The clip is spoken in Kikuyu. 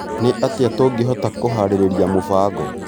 Nĩ atĩa tũngĩhota kũharĩrĩria mũbango?